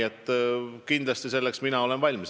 Mina olen selleks kindlasti valmis.